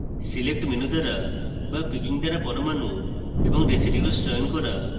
select menu দ্বারা বা picking দ্বারা পরমাণু এবং residues চয়ন করা